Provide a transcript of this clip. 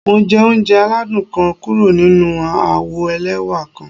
Mo jẹ ounjẹ aladun kan kuro ninu awo ẹlẹwa kan.